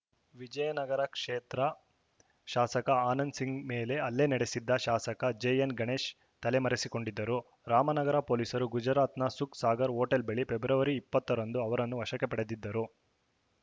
ವಿಜಯನಗರ ಕ್ಷೇತ್ರ ಶಾಸಕ ಆನಂದ್‌ ಸಿಂಗ್‌ ಮೇಲೆ ಹಲ್ಲೆ ನಡೆಸಿದ್ದ ಶಾಸಕ ಜೆಎನ್‌ಗಣೇಶ್‌ ತಲೆ ರೆಸಿಕೊಂಡಿದ್ದರು ರಾಮನಗರ ಪೊಲೀಸರು ಗುಜರಾತ್‌ನ ಸುಖ್‌ ಸಾಗರ್‌ ಹೋಟೆಲ್‌ ಬಳಿ ಫೆಬ್ರವರಿ ಇಪ್ಪತ್ತ ರಂದು ಅವರನ್ನು ವಶಕ್ಕೆ ಪಡೆದಿದ್ದರು